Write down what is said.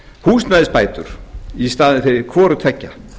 húsnæðisbætur í staðinn fyrir hvorutveggja